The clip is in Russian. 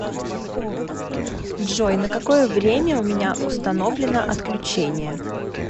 джой на какое время у меня установлено отключение